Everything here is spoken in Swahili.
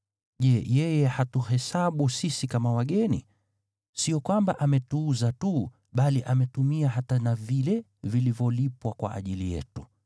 Je, yeye hatuhesabu sisi kama wageni? Sio kwamba ametuuza tu, bali ametumia hata na vile vilivyolipwa kwa ajili yetu.